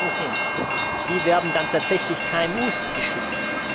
Doch die Fragen sind Wie werden dann tatsächlich KMU geschützt?